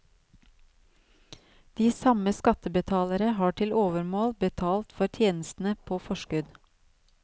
De samme skattebetalere har til overmål betalt for tjenestene på forskudd.